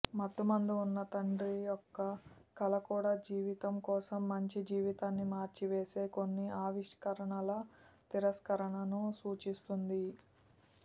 మత్తుమందు ఉన్న తండ్రి యొక్క కల కూడా జీవితం కోసం మంచి జీవితాన్ని మార్చివేసే కొన్ని ఆవిష్కరణల తిరస్కరణను సూచిస్తుంది